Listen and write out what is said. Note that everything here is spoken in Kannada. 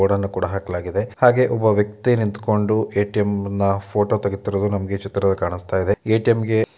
ಬೋರ್ಡನ್ನು ಕೂಡ ಹಾಕ್ಲಾಗಿದೆ ಹಾಗೆ ಒಬ್ಬ ವ್ಯಕ್ತಿ ನಿಂತ್ಕೊಂಡು ಏ.ಟಿ.ಮ್ ನ ಫೋಟೊ ತೆಗಿತಿರೋದು ನಮಗೆ ಚಿತ್ರದಲ್ಲಿ ಕಾಣಿಸ್ತಾ ಇದೆ ಏ.ಟಿ.ಮ್ ಗೆ --